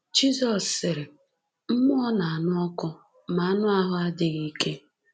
Jizọs sịrị: Mmụọ na-anụ ọkụ, ma anụ ahụ adịghị ike.